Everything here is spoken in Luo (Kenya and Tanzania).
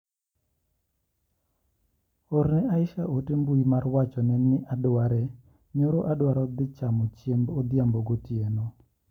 Orne Asha ote mbui mar wachone ni ne adware nyoro adwaro dhi chamo chiemb odhiambo gotieno.